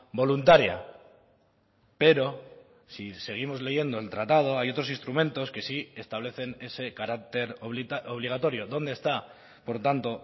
voluntaria pero si seguimos leyendo el tratado hay otros instrumentos que sí establecen ese carácter obligatorio dónde está por tanto